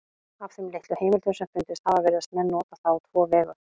Af þeim litlu heimildum sem fundist hafa virðast menn nota það á tvo vegu.